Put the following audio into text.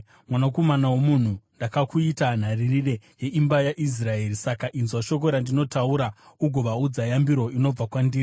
“Mwanakomana womunhu, ndakakuita nharirire yeimba yaIsraeri; saka inzwa shoko randinotaura ugovaudza yambiro inobva kwandiri.